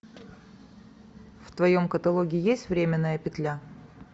в твоем каталоге есть временная петля